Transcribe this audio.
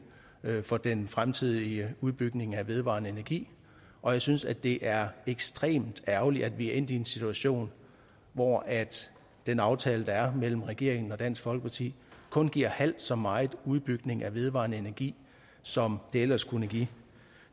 for den fremtidige udbygning af vedvarende energi og jeg synes det er ekstremt ærgerligt at vi er endt i en situation hvor den aftale der er mellem regeringen og dansk folkeparti kun giver halvt så meget udbygning af vedvarende energi som det ellers kunne give